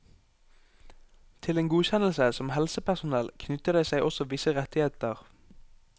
Til en godkjennelse som helsepersonell knytter det seg også visse rettigheter.